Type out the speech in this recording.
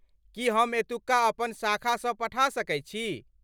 की हम एतुका अपन शाखासँ पठा सकैत छी?